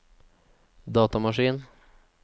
datamaskin